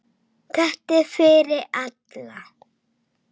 Þetta er fyrir alla.